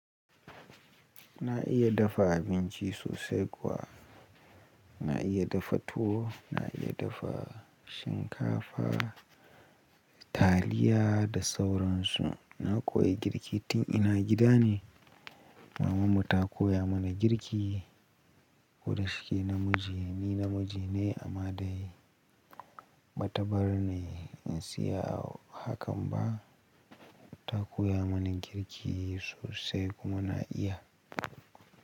Na iya dafa abinci sosai kuwa. Na iya dafa tuwo, na iya dafa shinkafa, taliya da sauransu. Na koya girki tin ina gida ne. Mamanmu ta koya mana girki. Ko da shike namiji, ni namiji ne amma dai ba ta bar ni in siya hakan ba. Ta koya mana girki sosai kuma na iya.